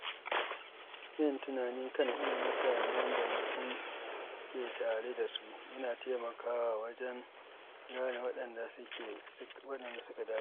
Yin tunani kan irin mutane da mutum ke tare da su yana taimakawa wajen gane waɗanda suka dace.